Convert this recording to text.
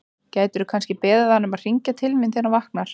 Gætirðu kannski beðið hann um að hringja til mín þegar hann vaknar?